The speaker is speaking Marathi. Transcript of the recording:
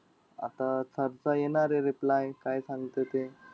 आता sir चा येणारे reply काय सांगत ते.